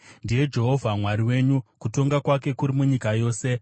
Ndiye Jehovha Mwari wedu; kutonga kwake kuri munyika yose.